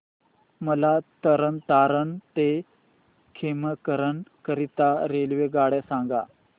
मला तरण तारण ते खेमकरन करीता रेल्वेगाड्या सांगा